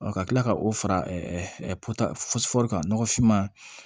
ka tila ka o fara kan nɔgɔfin ma